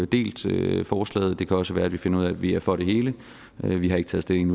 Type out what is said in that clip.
delt forslaget det kan også være vi finder ud af at vi er for det hele vi vi har ikke taget stilling